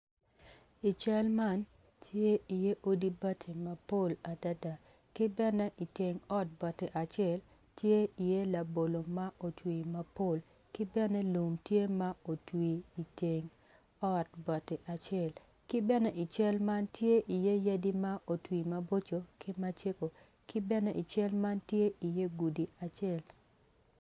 I cal man tye i iye odi bati mapol adada ki bene iteng ot bati acel tye i iye labolo ma otwi mapol ki bene lum tye ma otwi iteng ot bati acel ki ben i cal ma tye iye yadi ma otwi maboco ki macego ki bene ical man tye i iye gudi acel